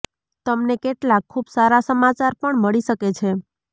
તમને કેટલાક ખૂબ સારા સમાચાર પણ મળી શકે છે